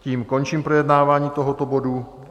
Tím končím projednávání tohoto bodu.